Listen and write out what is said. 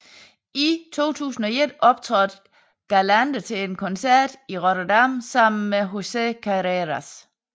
I 2001 optrådte Galante til en koncert i Rotterdam sammen med José Carreras